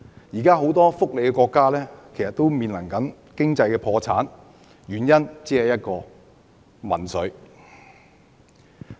現時很多福利國家都正面臨經濟破產，原因只有一個，就是民粹。